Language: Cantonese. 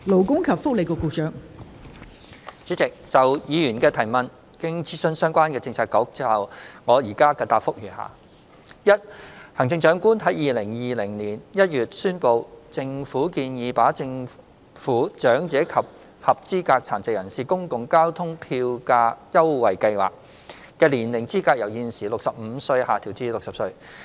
代理主席，就議員的質詢，經諮詢相關政策局後，我現答覆如下：一行政長官在2020年1月宣布，政府建議把"政府長者及合資格殘疾人士公共交通票價優惠計劃"的年齡資格由現時65歲下調至60歲。